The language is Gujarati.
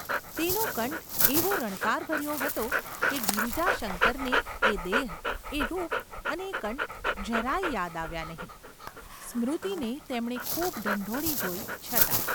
તેનો કંઠ એવો રણકારભર્યો હતો કે ગિરિજાશંકરને એ દેહ, એ રૂપ અને એ કંઠ જરા ય યાદ આવ્યાં નહિ – સ્મૃતિને તેમણે ખૂબ ઢંઢોળી જોઈ છતાં.